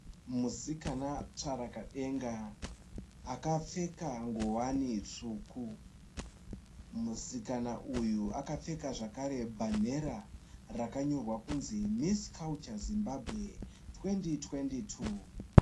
musikana tsvarakadenga akapfeka ngowani itsvuku. Musikana uyu akapfeka zvakare bhanera rakanyorwa kunzi Miss Culture Zimbabwe 2022.